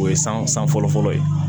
O ye san san fɔlɔfɔlɔ ye